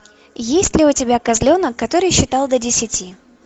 есть ли у тебя козленок который считал до десяти